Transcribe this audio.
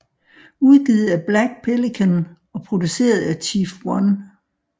Udgivet af Black Pelican og produceret af Chief 1